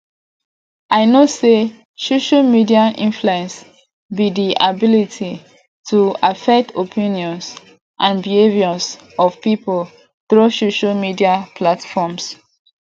i know say social media influence be di ability to affect opinions and behaviors of people through social media platforms